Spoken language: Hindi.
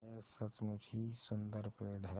यह सचमुच ही सुन्दर पेड़ है